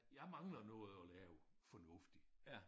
Jeg mangler noget at lave fornuftigt